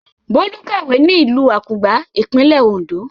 Bólú ń kàwé ní ìlú Àkùngbá, ìpínlẹ̀ Oǹdó.